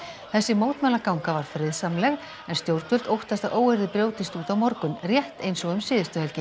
þessi mótmælaganga var friðsamleg en stjórnvöld óttast að óeirðir brjótist út á morgun rétt eins og um síðustu helgi